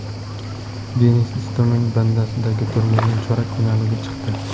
Denis Istomin Bastaddagi turnirning chorak finaliga chiqdi.